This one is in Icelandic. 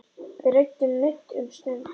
Við ræðum nudd um stund.